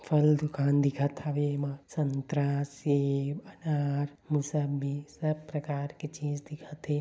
फल दुकान दिखत हावे एमा संतरा सेब अनार मुसंबी सब प्रकार के चीज दिखत हे।